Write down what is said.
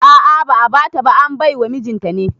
A'a ba'a bata ba, an baiwa mijinta ne